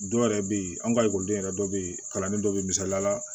Dɔw yɛrɛ bɛ yen an ka ekɔliden yɛrɛ dɔ bɛ yen kalanden dɔ bɛ misaliya la